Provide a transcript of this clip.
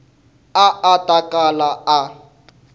a a ta kala a